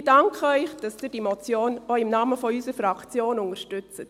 Ich danke Ihnen, wenn Sie diese Motion auch im Namen unserer Fraktion unterstützen.